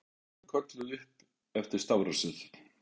Við vorum kölluð upp eftir stafrófsröð.